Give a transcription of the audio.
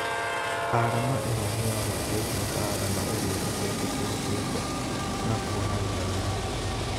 Arama ĩno nĩyorotetwo ta arama ĩrĩa ĩtetĩkĩrĩkĩte na kuonania rũmena